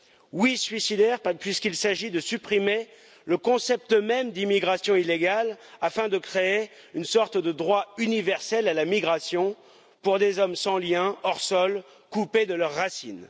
Oui, suicidaire, puisqu'il s'agit de supprimer le concept même d'immigration illégale afin de créer une sorte de droit universel à la migration, pour des hommes sans liens, hors sol, coupés de leurs racines.